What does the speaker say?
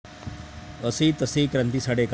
असेही तसेही क्रांती साडेकर